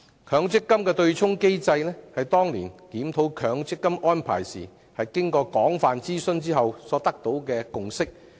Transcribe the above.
強積金對沖機制是當年檢討強積金安排時，經過廣泛諮詢後取得的共識。